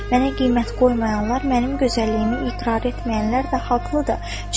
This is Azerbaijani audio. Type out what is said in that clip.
Mənə qiymət qoymayanlar mənim gözəlliyimi iqrar etməyənlər də haqlıdır.